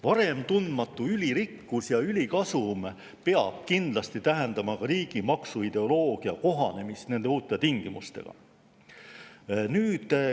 Varem tundmatu ülirikkus ja ülikasum peavad kindlasti tähendama ka riigi maksuideoloogia kohanemist uute tingimustega.